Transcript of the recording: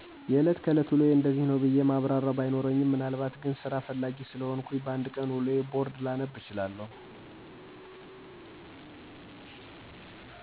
የእለት ከእለት ውሎየ እንደዚህ ነው ብየ የማብራርው ባይኖርኝም ምናልባት ግን ሰራ ፍላጌ ሰለሆንኩ በ አንድ ቀን ውሎየን ቦርድ ላነብ እችላለው።